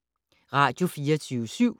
Radio24syv